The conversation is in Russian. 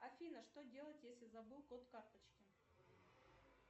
афина что делать если забыл код карточки